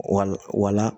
Wala wala